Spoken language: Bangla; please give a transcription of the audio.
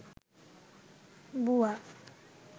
বুয়া